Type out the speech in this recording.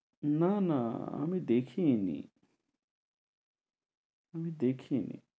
না না আমি দেখিই নি দেখিনি।